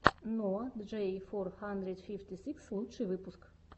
ноа джей фор хандридс фифти сикс лучший выпуск